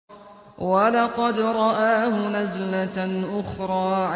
وَلَقَدْ رَآهُ نَزْلَةً أُخْرَىٰ